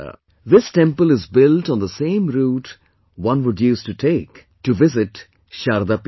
This temple is built on the same route one would use to go to visit Sharda Peeth